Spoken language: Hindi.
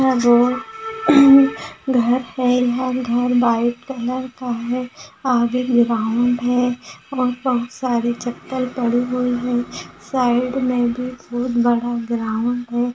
यह जो घर है यह घर व्हाइट कलर का है आगे ग्राउंड है और बहुत सारे चप्पल पड़े हुए हैं साइड में भी बहुत बड़ा ग्राउंड है।